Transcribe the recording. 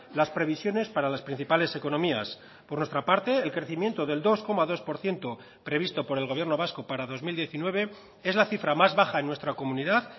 las previsiones para las principales economías por nuestra parte el crecimiento del dos coma dos por ciento previsto por el gobierno vasco para dos mil diecinueve es la cifra más baja en nuestra comunidad